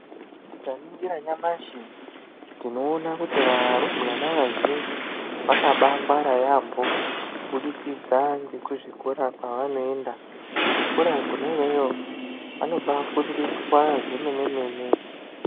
Tikaningira nyamashi tinoona kuti varumbwana vazhinji, vakabaangwara yaambo kuburikidza ngekuzvikora kwavanoenda. Kuzvikora kona iyoyo vanobafundiswa zvomene mene.